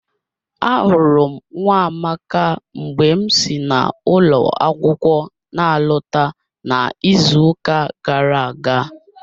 Ahụrụ m Nwamaka mgbe m si n'ụlọ akwụkwọ na alọta n'izuụka gara aga